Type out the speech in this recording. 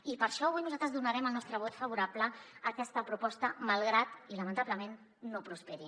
i per això avui nosaltres donarem el nostre vot favorable a aquesta proposta malgrat i lamentablement que no prosperi